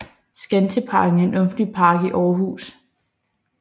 Skanseparken er en offentlig park i Aarhus